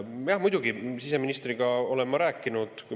Jah, muidugi siseministriga olen ma rääkinud.